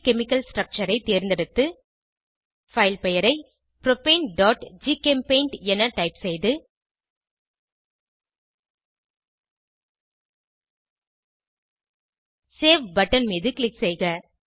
2ட் chemical structure ஐ தேர்ந்தெடுத்து file பெயரை propaneஜிசெம்பெயிண்ட் என டைப் செய்து சேவ் பட்டன் மீது க்ளிக் செய்க